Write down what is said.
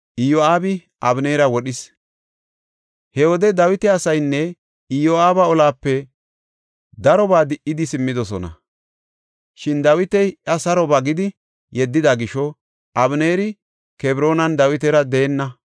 He wode Dawita asaynne Iyo7aabi olape darobaa di77idi simmidosona. Shin Dawiti iya saro ba gidi yeddida gisho, Abeneeri Kebroonan Dawitara deenna.